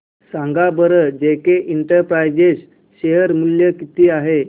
सांगा बरं JK enterprises share मूल्य किती आहे